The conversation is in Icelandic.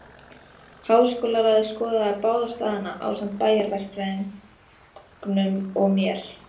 Háskólaráðið skoðaði báða staðina, ásamt bæjarverkfræðingnum og mér.